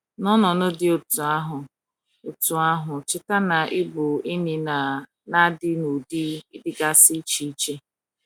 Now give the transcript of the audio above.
N’ọnọdụ dị otú ahụ, otú ahụ, cheta na ịbụ enyi na - adị n’ụdị dịgasị iche iche.